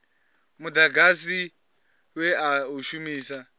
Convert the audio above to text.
mudagasi we a u shumisa